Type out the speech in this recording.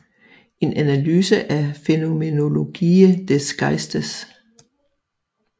En analyse af Phänomenologie des Geistes